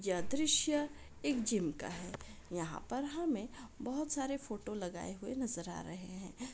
यह दृश्य एक जिम का है यहां पर हमें बहुत सारे फोटो लगाए हुए नजर आ रहे हैं।